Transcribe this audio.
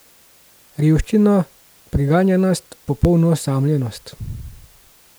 Revščino, preganjanost, popolno osamljenost.